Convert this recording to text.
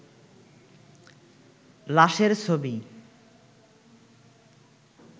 লাশের ছবি